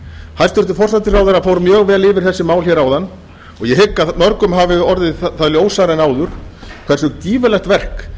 hæstvirtur forsætisráðherra fór mjög vel yfir þessi mál áðan og ég hygg að mörgum hafi orðið það ljósara en áður hversu gífurlegt verk